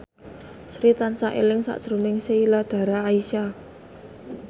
Sri tansah eling sakjroning Sheila Dara Aisha